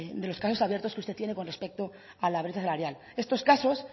de los casos abiertos que usted tiene con respecto a la brecha salarial estos casos